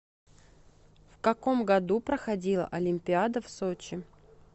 в каком году проходила олимпиада в сочи